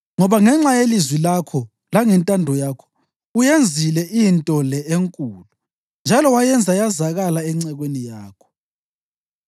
Ngoba ngenxa yelizwi lakho langentando yakho, uyenzile into le enkulu njalo wayenza yazakala encekwini yakho.